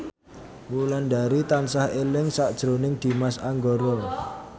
Wulandari tansah eling sakjroning Dimas Anggara